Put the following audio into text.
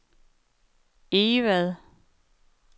Egvad